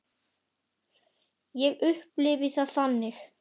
Ég upplifi það þannig.